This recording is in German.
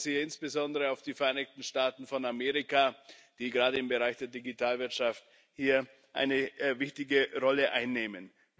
Ich verweise hier insbesondere auf die Vereinigten Staaten von Amerika, die gerade im Bereich der Digitalwirtschaft hier eine wichtige Rolle einnehmen.